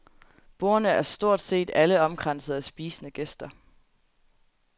Bordene er stort set alle omkranset af spisende gæster.